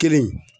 Kelen